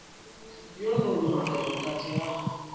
yo no luga vhukati ha